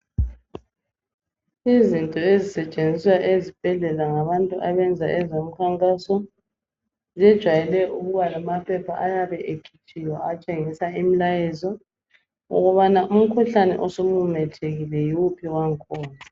Izinto ezisetshenziswa esibhedlela ngabantu abenza ezemikhankaso zijwayele ukuba lamaphepha ayabe ekhitshiwe atshengisa imlayezo ukubana umkhuhlane osumemethekile yowuphi wakhona